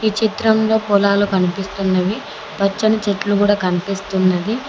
ఈ చిత్రంలో పొలాలు కనిపిస్తున్నవి పచ్చని చెట్లు గూడా కనిపిస్తున్నది.